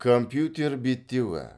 компьютер беттеуі